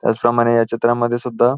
त्याचप्रमाणे या चित्रा मध्ये सुद्धा--